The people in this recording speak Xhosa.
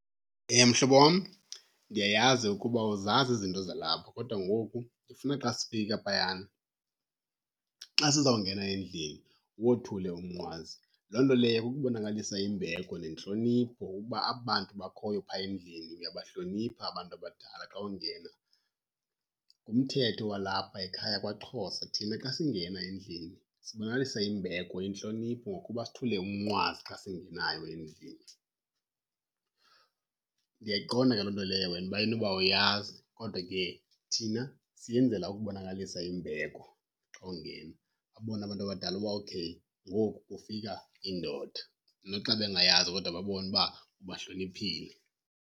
Mhlobo wam, ndiyayazi ukuba awuzazi izinto zalapha kodwa ngoku ndifuna xa sifika phayana, xa sizawungena endlini, uwothule umnqwazi. Loo nto leyo kukubonakalisa imbeko nentlonipho uba aba bantu bakhoyo phaya endlini uyabahlonipha abantu abadala xa ungena. Ngumthetho walapha ekhaya kwaXhosa. Thina xa singena endlini sibonakalisa imbeko, intlonipho, ngokuba sithule umnqwazi xa singenayo endlini. Ndiyayiqonda ke loo nto leyo wena uba inoba awuyazi kodwa ke thina siyenzela ukubonakalisa imbeko xa ungena. Babone abantu abadala uba, okay, ngoku kufika indoda. Noxa bengayazi kodwa babone uba ubahloniphile.